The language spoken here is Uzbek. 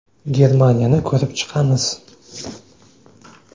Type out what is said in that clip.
Germaniyani ko‘rib chiqamiz.